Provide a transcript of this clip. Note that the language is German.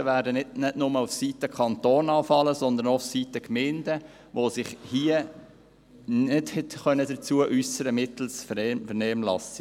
Die Mehrkosten werden nicht nur auf der Seite des Kantons anfallen, sondern auch auf der Seite der Gemeinden, die sich hierzu mittels Vernehmlassung nicht äussern konnten.